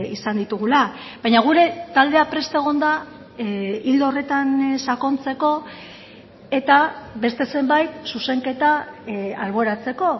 izan ditugula baina gure taldea prest egon da ildo horretan sakontzeko eta beste zenbait zuzenketa alboratzeko